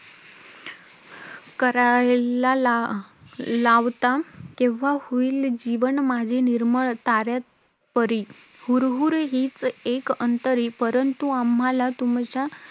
करायला ला~ लावता? केव्हा होईल जीवन माझे निर्मळ ताऱ्यापरी! हुरहुर हीच एक अंतरी! परंतु आम्हाला तुमच्या